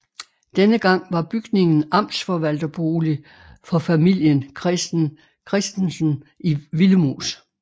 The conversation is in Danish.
Den gang var bygningen amtsforvalterbolig for familien Christen Christensen Willemoes